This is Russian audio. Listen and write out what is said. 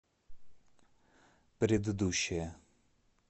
предыдущая